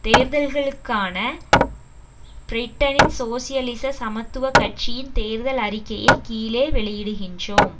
தேர்தல்களுக்கான பிரிட்டனின் சோசியலிச சமத்துவ கட்சியின் தேர்தல் அறிக்கையை கீழே வெளியிடுகின்றோம்